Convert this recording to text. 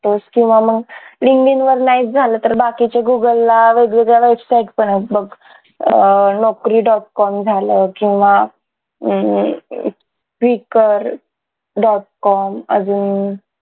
किंवा मग linkedin वर नाहीच झालं तर बाकीचे google ला वेग वेगळ्या website पण येत बघ अह naukri dot com झालं किंवा हम्म quikr dot com अजून